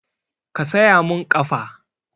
Ka saya mun ƙafa!